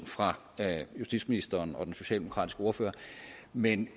fra justitsministeren og den socialdemokratiske ordfører men